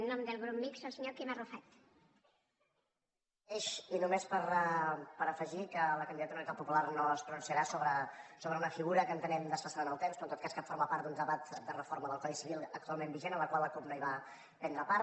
només per afegir que la candidatura d’unitat popular no es pronunciarà sobre una figura que entenem desfasada en el temps però en tot cas que forma part d’un debat de reforma del codi civil actualment vigent en la qual la cup no hi va prendre part